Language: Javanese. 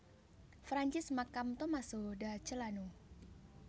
Francis makam Tommaso da Celano